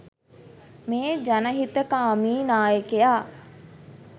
මේ ජනහිතකාමී නායකයා.